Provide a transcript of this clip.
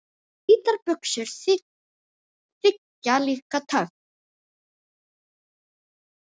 Hvítar buxur þykja líka töff.